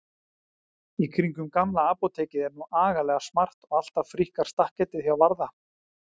Í kringum Gamla apótekið er nú agalega smart og alltaf fríkkar stakketið hjá Varða.